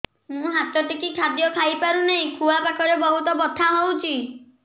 ମୁ ହାତ ଟେକି ଖାଦ୍ୟ ଖାଇପାରୁନାହିଁ ଖୁଆ ପାଖରେ ବହୁତ ବଥା ହଉଚି